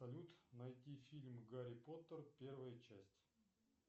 салют найти фильм гарри поттер первая часть